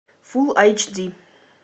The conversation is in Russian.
фул айч ди